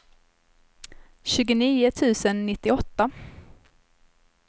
tjugonio tusen nittioåtta